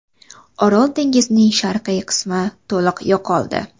Orol dengizining sharqiy qismi to‘liq yo‘qoldi.